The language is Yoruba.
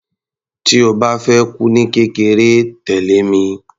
Tí o bá fẹ́ kú ní kékeré, tẹ̀lẹ́ mi.